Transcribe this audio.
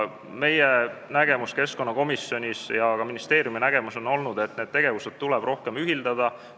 Meie nägemus keskkonnakomisjonis ja ka ministeeriumi nägemus on olnud, et neid tegevusi tuleb rohkem ühitada.